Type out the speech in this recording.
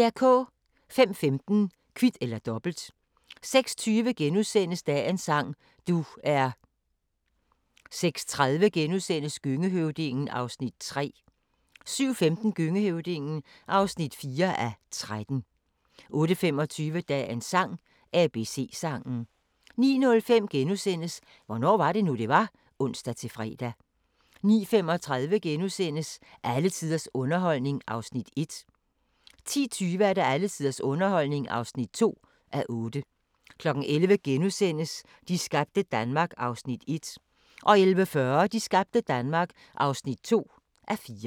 05:15: Kvit eller Dobbelt 06:20: Dagens sang: Du er * 06:30: Gøngehøvdingen (3:13)* 07:15: Gøngehøvdingen (4:13) 08:25: Dagens sang: ABC-sangen 09:05: Hvornår var det nu, det var? *(ons-fre) 09:35: Alle tiders underholdning (1:8)* 10:20: Alle tiders underholdning (2:8) 11:00: De skabte Danmark (1:4)* 11:40: De skabte Danmark (2:4)